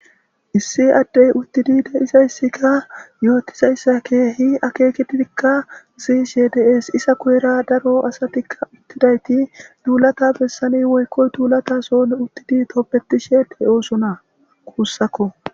Issi addey uttidi deisayssikka yootizayssa keehi akeekeddikka zi she des isa kuyera daro asatikka uttidayti duulata bessani woykkoy duulata soon uttidi toppetishe he oosona kuussakko.